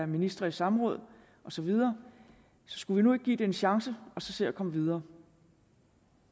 ministre i samråd og så videre så skulle vi nu ikke give det en chance og så se at komme videre